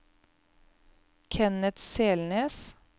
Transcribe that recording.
Kenneth Selnes